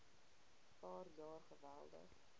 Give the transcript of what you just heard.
paar jaar geweldig